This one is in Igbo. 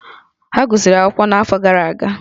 Ha gụsịrị akwụkwọ n'afọ gara aga